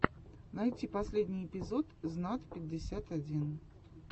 найти последний эпизод знат пятьдесят один